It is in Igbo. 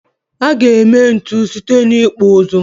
A ga-eme ntu site n'ịkpụ ụzụ.